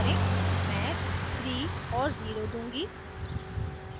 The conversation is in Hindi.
मैं 3 और 0 दूंगी